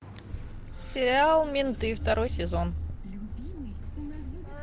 сериал менты второй сезон